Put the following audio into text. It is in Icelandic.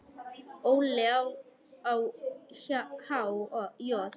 Óli á há joð?